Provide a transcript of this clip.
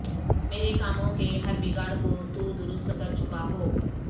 میرے کاموں کے ہر بگاڑ کو تو درست کرچکا ہو